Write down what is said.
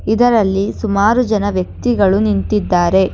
ಇದರಲ್ಲಿ ಸುಮಾರು ಜನ ವ್ಯಕ್ತಿಗಳು ನಿಂತಿದ್ದಾರೆ.